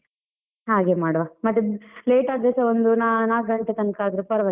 ಹಾಗೆ ಮಾಡುವ, ಮತ್ತೆ late ಆದ್ರೆಸ ಒಂದು ನಾ~ ನಾಲ್ಕು ಗಂಟೆ ತನಕ ಆದ್ರೆ ಪರ್ವಾಗಿಲ್ಲ.